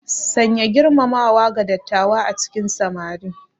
Sanya girmamawa ga dattawa a cikin samari.